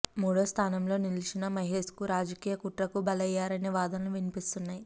మూడో స్థానంలో నిలిచిన మహేశ్కు రాజకీయ కుట్రకు బలయ్యారనే వాదనలు వినిపిస్తున్నాయి